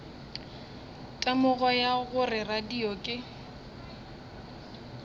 temogo ya gore radio ke